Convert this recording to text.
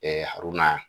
aruna